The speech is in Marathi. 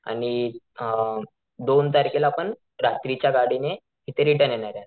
आणि अ दोन तारखेला आपण रात्रीच्या गाडीने इथं रिटर्न येणारे.